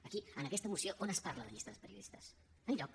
aquí en aquesta moció on es parla de llistes de periodistes enlloc